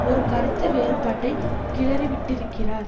ஒரு கருத்துவேறுபாட்டை கிளறிவிட்டிருக்கிறார்